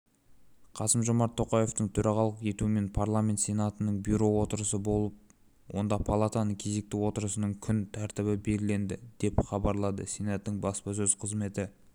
қасым-жомарт тоқаевтың төрағалық етуімен парламент сенатының бюро отырысы болып онда палатаның кезекті отырысының күн тәртібі белгіленді деп хабарлады сенаттың баспасөз қызметі